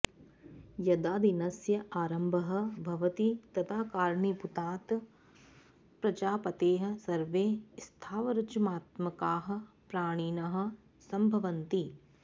यदा दिनस्य आरम्भः भवति तदा कारणीभूतात् प्रजापतेः सर्वे स्थावरजमात्मकाः प्राणिनः सम्भवन्ति